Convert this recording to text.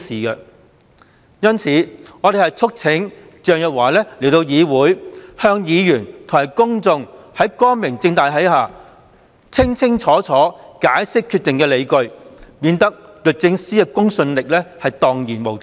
因此，我們促請鄭若驊到議會席前，光明正大地向議員和公眾解釋清楚決定的理據，以免律政司的公信力蕩然無存。